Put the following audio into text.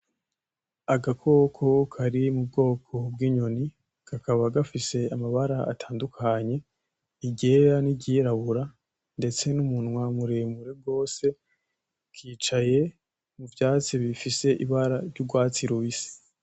Agakoko kari mu bwoko bw'inyoni kakaba gafise amabara atandukanye iryera niry'irabura ndetse n'umunwa muremure gose kicaye mu vyastsi bifise ibara ry'urwatsi rubisi.